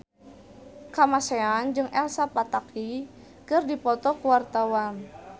Kamasean jeung Elsa Pataky keur dipoto ku wartawan